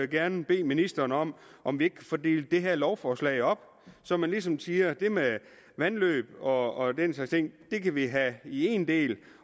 gerne bede ministeren om om at få delt det her lovforslag op så man ligesom siger at det med vandløb og den slags ting kan vi have i en del